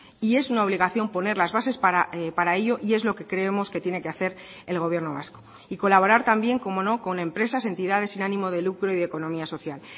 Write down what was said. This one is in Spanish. y es una obligación poner las bases para ello y es lo que creemos que tiene que hacer el gobierno vasco y colaborar también como no con empresas entidades sin ánimo de lucro y de economía social